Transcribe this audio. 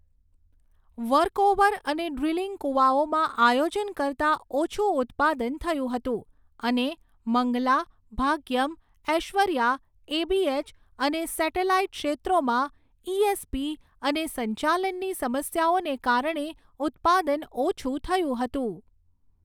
Workover અને drilling કૂવાઓમાં આયોજન કરતાં ઓછું ઉત્પાદન થયું હતું અને મંગલા, ભાગ્યમ, ઐશ્વર્યા, એબીએચ અને સેટેલાઈટ ક્ષેત્રોમાં ઈએસપી અને સંચાલનની સમસ્યાઓને કારણે ઉત્પાદન ઓછું થયું હતું.